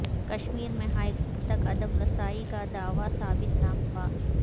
کشمیر میں ہائیکورٹ تک عدم رسائی کا دعوی ثابت نہ ہوا